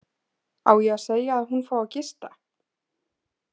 Á ég að segja að hún fái að gista?